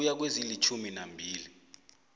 ukuya kwezilitjhumi nambili